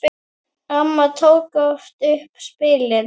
Amma tók oft upp spilin.